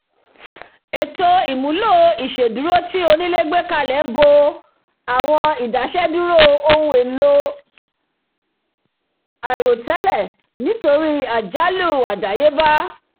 ètò ìmùlò ìṣèdúró tí onílé gbé kalẹ̀ bo àwọn idaseduro ohun èlò àìròtẹ́lẹ̀ nítorí àwọn àjálù àdáyébá